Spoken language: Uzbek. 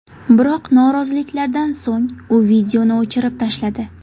Biroq noroziliklardan so‘ng u videoni o‘chirib tashladi.